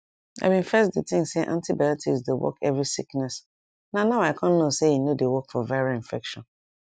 i bin first dey think say antibiotics dey work every sickness na now i con know say e no dey work for viral infection